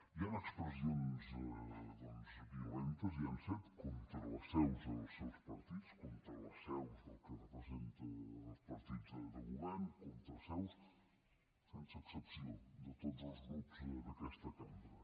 hi han expressions violentes hi han set contra les seus dels seus partits contra les seus del que representen els partits de govern contra seus sense excepció de tots els grups d’aquesta cambra